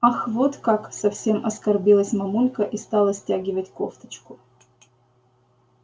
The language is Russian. ах вот как совсем оскорбилась мамулька и стала стягивать кофточку